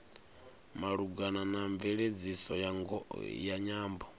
malugana na mveledziso ya nyambo